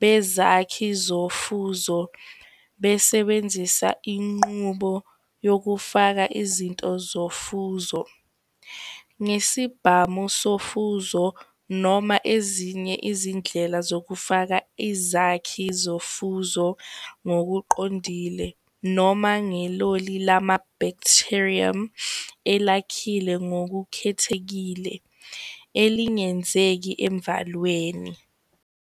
bezakhi zofuzo besebenzisa inqubo yokufaka izinto zofuzo ngesibhamu sofuzo, noma ezinye izindlela zokufaka izakhi zofuzo ngokuqondile, noma ngeloli lama-bacterium elakhile ngokukhethekile elingenzeki emvalweni.